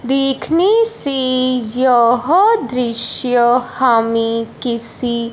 देखने से यह दृश्य हमें किसी--